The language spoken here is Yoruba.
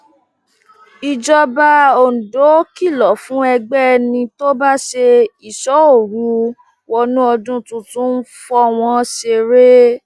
ìjọba ondo kìlọ fún ẹgbẹ ẹni tó bá ṣe ìṣóoru wọnú ọdún tuntun ń fọwọn ṣeré